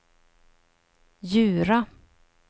Djura